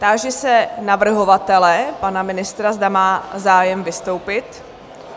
Táži se navrhovatele, pana ministra, zda má zájem vystoupit?